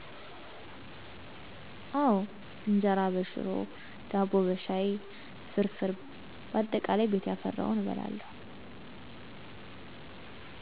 አወ እጀራ በሽሮ፣ ዳቦ በሻይ፣ ፍርፍር ባጠቃላይ ቤት ያፈራውን እበላለሁ